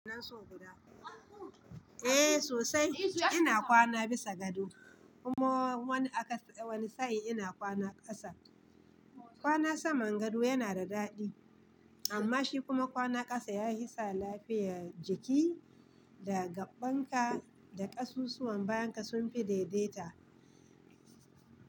Eh sosai. Ina kwana bisa gado kuma wani sa'i ina kwana kasa. Kwana saman gado yana da daɗi amma shi kuma kwana kasa ya hisa lafiya jiki da gaɓɓan ka da kasusuwan bayan ka sun fi daidaita.